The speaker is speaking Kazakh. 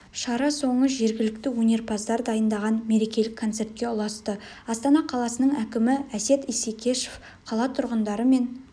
шара соңы жергілікті өнерпаздар дайындаған мерекелік концертке ұласты астана қаласының әкімі әсет исекешев қала тұрғындары мен